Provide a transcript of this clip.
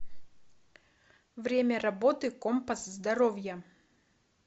время работы компас здоровья